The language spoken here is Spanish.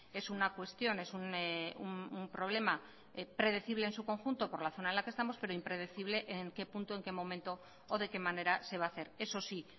es una cuestión es un problema predecible en su conjunto por la zona en la que estamos pero impredecible en qué punto en qué momento o de qué manera se va a hacer eso sí